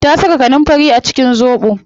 Ta saka kanunfari a cikin zobo